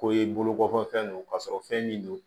Ko i bolo bɔ fɛn don ka sɔrɔ fɛn min don